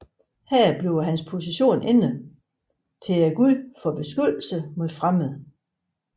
Her bliver hans position ændret til guden for beskyttelse mod fremmede